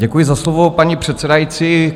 Děkuji za slovo, paní předsedající.